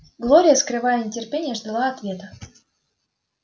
глория скрывая нетерпение ждала ответа